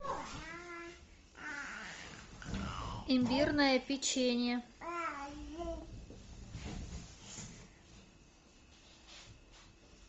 имбирное печенье